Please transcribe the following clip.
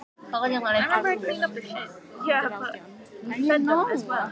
Honum hafði verið fyrirmunað að neita.